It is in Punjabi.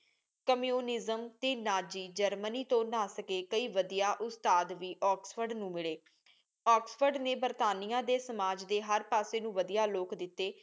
ਕਮਿਊਨਿਜ਼ਮ ਟੀ ਨਾਜ਼ੀ ਜ੍ਰਮਨੀ ਤੋ ਨਾ ਸਕੇ। ਕਈ ਵਧੀਆ ਉਸਤਾਦ ਵੀ ਆਕਸਫੋਰਡ ਨੂ ਮਿਲੈ ਆਕਸਫੋਰਡ ਨੀ ਬਰਤਾਨੀਆ ਡੀ ਸਮਾਜ ਡੀ ਹਰ ਪਾਸੀ ਨੂ ਵਧੀਆ ਲੋਕ ਦਿਤੇ